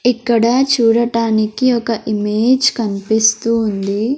ఇక్కడ చూడటానికి ఒక ఇమేజ్ కనిపిస్తూ ఉంది.